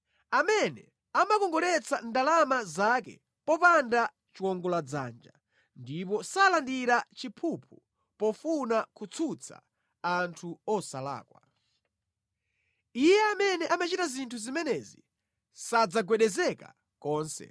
amene amakongoletsa ndalama zake popanda chiwongoladzanja ndipo salandira chiphuphu pofuna kutsutsa anthu osalakwa. Iye amene amachita zinthu zimenezi sadzagwedezeka konse.